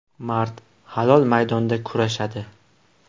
Mard, halol maydonda kurashadi.